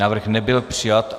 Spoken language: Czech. Návrh nebyl přijat.